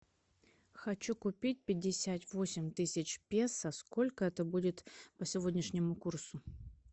хочу купить пятьдесят восемь тысяч песо сколько это будет по сегодняшнему курсу